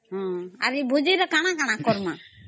ଆ ହାଁ ଭୋଜି ତା କାନା କାନା କରମା ?